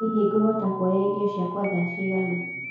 hĩhĩ nguhota kũoya ĩrĩo cĩakwa thaa cĩĩgana